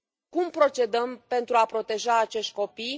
Cum procedăm pentru a proteja acești copii?